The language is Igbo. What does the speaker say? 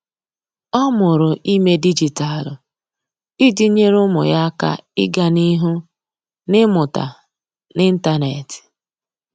Ọ́ mụrụ ímé dịjịta iji nyèré ụ́mụ́ yá áká ị́gá n’ihu n’ị́mụ́ta n’ị́ntánétị̀.